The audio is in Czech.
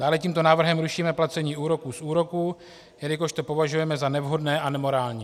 Dále tímto návrhem rušíme placení úroků z úroků, jelikož to považujeme za nevhodné a nemorální.